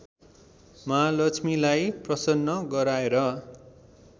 महालक्ष्मीलाई प्रसन्न गराएर